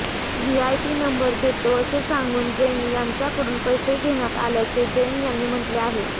VIP number देतो असे सांगून जैन यांच्याकडून पैसे घेण्यात आल्याचे जैन यांनी म्हटले आहे